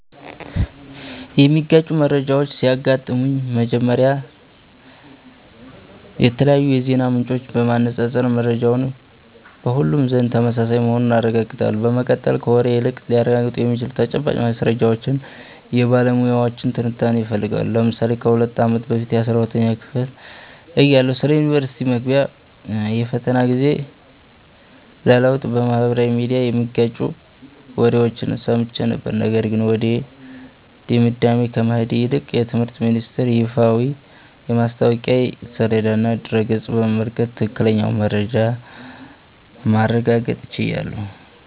የሚጋጩ መረጃዎች ሲያጋጥሙኝ፥ መጀመሪያ የተለያዩ የዜና ምንጮችን በማነፃፀር መረጃው በሁሉም ዘንድ ተመሳሳይ መሆኑን አረጋግጣለሁ። በመቀጠል፥ ከወሬ ይልቅ ሊረጋገጡ የሚችሉ ተጨባጭ ማስረጃዎችንና የባለሙያዎችን ትንታኔ እፈልጋለሁ። ለምሳሌ ከ2 አመት በፊት 12ኛ ክፍል እያለሁ ስለ ዩኒቨርስቲ መግቢያ የፈተና ጊዜ ለውጥ በማኅበራዊ ሚዲያ የሚጋጩ ወሬዎችን ሰምቼ ነበር፤ ነገር ግን ወደ ድምዳሜ ከመሄድ ይልቅ የትምህርት ሚኒስተር ይፋዊ የማስታወቂያ ሰሌዳና ድረ-ገጽ በመመልከት ትክክለኛውን መረጃ ማረጋገጥ ችያለሁ።